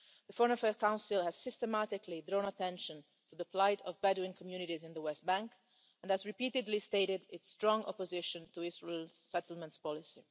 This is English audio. The Foreign Affairs Council has systematically drawn attention to the plight of Bedouin communities in the West Bank and has repeatedly stated its strong opposition to Israel's settlements policy.